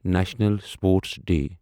national sports day